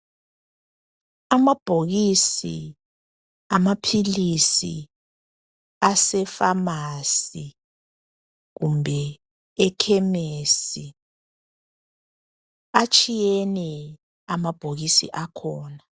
Amabhokisi amaphilisi asefamasi kumbe ekhemesi atshiyene amabhokisi akhona.